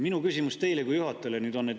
Minu küsimus teile kui juhatajale on nüüd see.